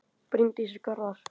Bryndís og Garðar.